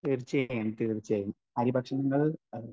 Speaker 1 തീർച്ചയായും തീർച്ചയായും. അരിഭക്ഷണങ്ങൾ